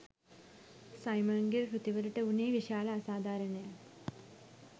සයිමන්ගේ කෘතිවලට වුනේ විශාල අසාධාරණයක්